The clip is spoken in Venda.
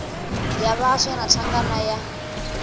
ya vhaswa na thangana ya